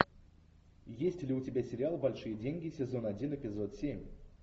есть ли у тебя сериал большие деньги сезон один эпизод семь